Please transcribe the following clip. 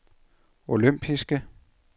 olympiske